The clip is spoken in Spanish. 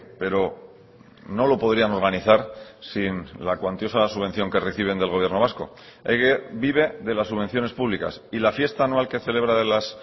pero no lo podrían organizar sin la cuantiosa subvención que reciben del gobierno vasco ehige vive de las subvenciones públicas y la fiesta anual que celebra